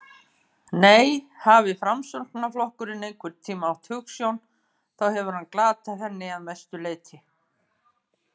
Nei, hafi Framsóknarflokkurinn einhvern tíma átt hugsjón þá hefur hann glatað henni að mestu leyti.